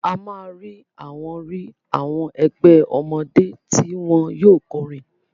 A máa rí àwọn rí àwọn ẹgbẹ́ ọmọdé tí wọn yóò kọrin.